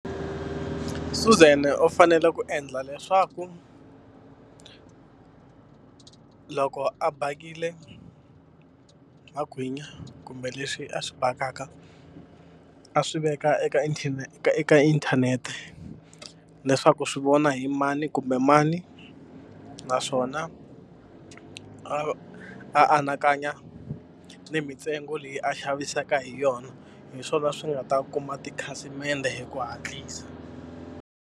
Suzan u fanele ku endla leswaku loko a bakile magwinya kumbe leswi a swi bakaka, a swi veka eka eka inthanete leswaku swi vona hi mani kumbe mani. Naswona a a anakanya ni mitsengo leyi a xavisaka hi yona. Hi swona swi nga ta kuma tikhasimende hi ku hatlisa.